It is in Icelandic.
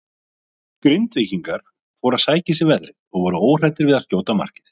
Grindvíkingar fóru að sækja í sig veðrið og voru óhræddir við að skjóta á markið.